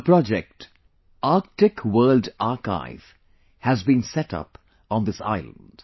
A project, Arctic World Archive has been set upon this island